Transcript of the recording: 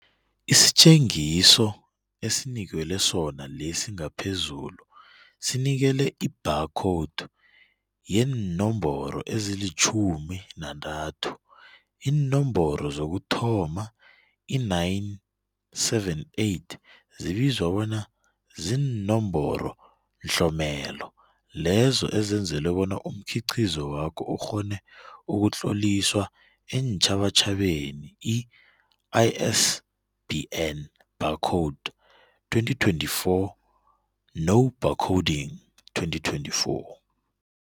Isitjengiso esinikelwe sona lesi ngaphezulu sinikele i-bar code yeenomboro ezilitjhumi nantathu. Iinomboro zokuthoma i-978 zibizwa bona ziinomboronhlomelelo lezo ezenzelwe bona umkhiqizo wakho ukghone ukutloliswa eentjhabatjhabeni, ISBN Barcode 2024 no-Barcoding 2024.